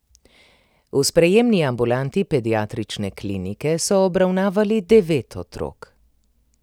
V sprejemni ambulanti Pediatrične klinike so obravnavali devet otrok.